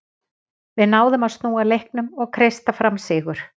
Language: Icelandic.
Við náðum að snúa leiknum og kreista fram sigur.